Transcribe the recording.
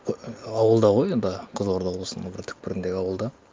і ауылда ғой енді қызылорда облысының бір түпкіріндегі ауылда